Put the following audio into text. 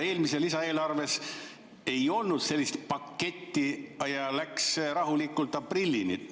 Eelmises lisaeelarves ei olnud sellist paketti, läks rahulikult aprillini.